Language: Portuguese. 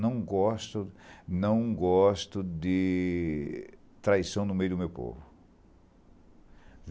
Não gosto não gosto de traição no meio do meu povo.